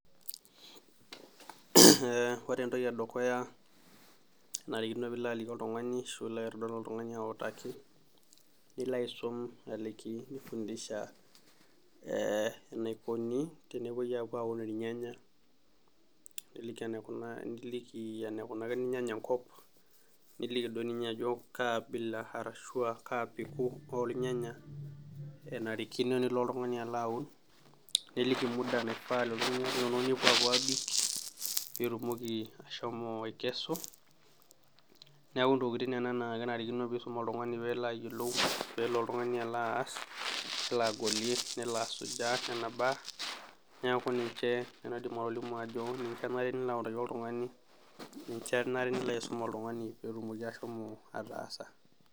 Eh ore entoki edukuya kenarikino piilo aliki oltung'ani ashu ilo aitodol oltung'ani autaki nilo aisum aliki nifundisha eh enaikoni tenepuoi apuo aun irnyanya nilik enaikunaa, niliki enaikunakini ilnyanya enkop niliki doi ninye ajo kaa abila arashua kaa peku olnyanya enarikino nilo oltung'ani alo aun niliki muda naifaa lelo nyanya linonok nepuo apuo abik pitumoki ashomo aikesu niaku ntokitin nena naa kenarikino piisum oltung'ani peelo ayiolou pelo oltung'ani alo aas nelo agolie nena baa niaku ninche nanu aidim atolimu ajo ninche enare nilo autaki oltung'ani ninche enare nilo aisum oltung'ani petumoki ashomo ataasa.